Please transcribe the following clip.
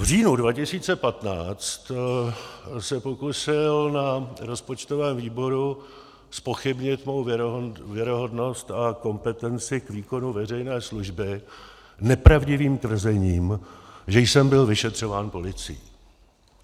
V říjnu 2015 se pokusil na rozpočtovém výboru zpochybnit mou věrohodnost a kompetenci k výkonu veřejné služby nepravdivým tvrzením, že jsem byl vyšetřován policií.